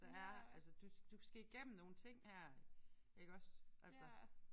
Der er altså du du skal igennem nogle ting her iggås altså